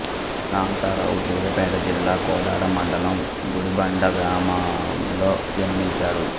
కాంతారావు సూర్యాపేట జిల్లా కోదాడ మండలం గుడిబండ గ్రామములో జన్మించాడు